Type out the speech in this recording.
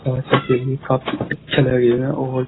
बहुत ही काफी अच्छा लगेगा और --